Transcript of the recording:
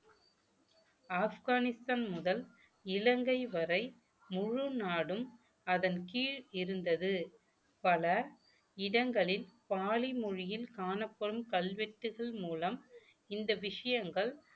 ஆப்கானிஸ்தான் முதல் இலங்கை வரை முழு நாடும் அதன் கீழ் இருந்தது பல இடங்களில் பாலி மொழியில் காணப்படும் கல்வெட்டுகள் மூலம் இந்த விஷயங்கள்